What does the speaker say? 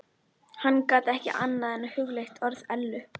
Hann gat ekki annað en hugleitt orð Ellu.